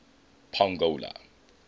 pongola